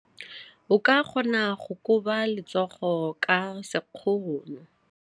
O ka kgona go koba letsogo ka sekgono.